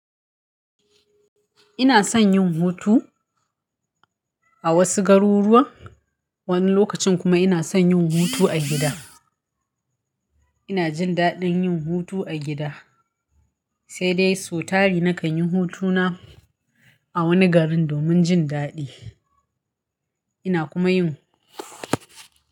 Ina son yin hutu a wasu garuruwa, wani lokacin kuma ina son yin hutu a gida. Ina jin daɗin yin hutu a gida, sai dai sau tari na kan yi hutuna a wani garin domin jin daɗi. Ina kuma yin.